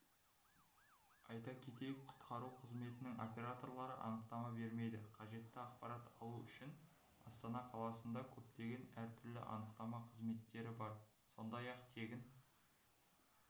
айта кетейік құтқару қызметінің операторлары анықтама бермейді қажетті ақпарат алу үшін астана қаласында көптеген әр түрлі анықтама қызметтері бар сондай-ақ тегін